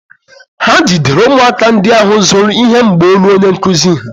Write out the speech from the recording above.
Ha jidere ụmụaka ndị ahụ zuru ihe mgbaolu onye nkụzi ha.